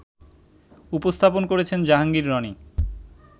উপস্থাপন করেছেন জাহাঙ্গীর রনি